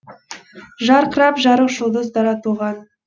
жарқырап жарық жұлдыз дара туған